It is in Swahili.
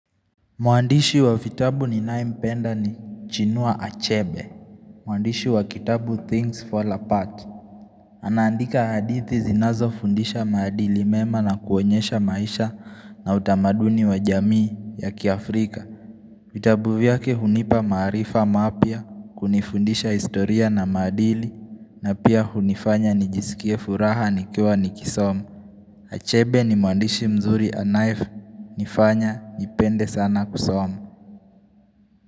Mwandishi wa vitabu ninayempenda ni chinua achebe Mwandishi wa kitabu Things Fall Apart Anaandika hadithi zinazofundisha maadili mema na kuonyesha maisha na utamaduni wa jamii ya kiafrika vitabu vyake hunipa maarifa mapya kunifundisha historia na maadili na pia hunifanya nijisikie furaha nikiwa nikisoma Achebe ni mwandishi mzuri anaye nifanya nipende sana kusoma.